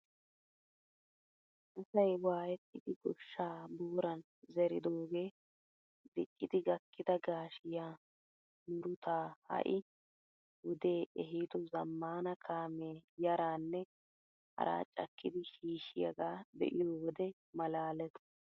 Asay waayettidi gooshshaa booran zeridogee diccidi gakkida gaashshsiyaa murutaa ha'i wodee ehido zammaana kaamee yaaranne haara cakkidi shiishiyagaa be'iyoo wode maalaales!